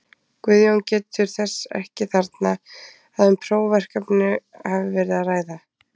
Guðjón getur þess ekki þarna, að um prófverkefni hafi verið að ræða.